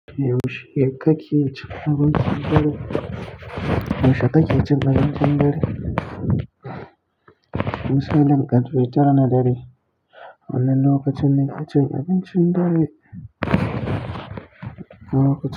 Yaushe kake cin abincin dare, yaushe kake cin abincin dare? Misalin ƙarfe tara na dare wannan lokacin ne nake cin abincin dare, don lokacin.